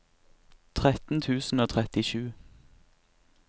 tretten tusen og trettisju